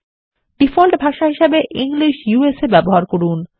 default ভাষা হিসাবে English ব্যবহার করুন